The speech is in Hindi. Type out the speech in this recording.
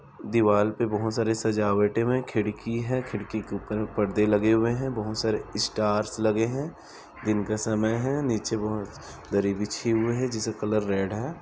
दीवाल पे बहुत सारे सजावटें है खिड़की है खिड़की के ऊपर में पर्दे लगे हुए है बहुत सारे स्टार्स लगे है दिन का समय है नीचे बहोत दरी बिछी हुए है जिसका कलर रेड है।